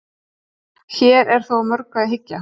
hér er þó að mörgu að hyggja